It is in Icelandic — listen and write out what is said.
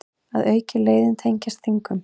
Að auki mun leiðin tengjast Þingum